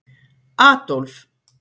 Adólf